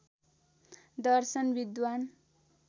दर्शन विद्वान्